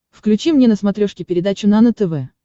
включи мне на смотрешке передачу нано тв